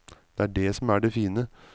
Det er dét som er det fine.